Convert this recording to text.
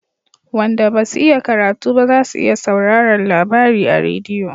Wanda basu iya karatu ba za su iya sauraran labari a rediyo